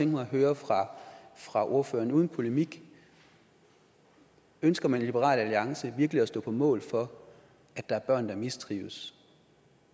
mig at høre fra fra ordføreren uden polemik ønsker man i liberal alliance virkelig at stå på mål for at der er børn der mistrives